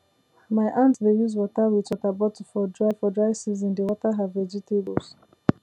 my aunt dey use water wit water bottle for dry for dry season dey water her vegetables